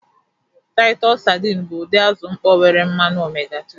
Titus sadịni bụ ụdị azụ mkpọ nke nwere mmanụ omega-3.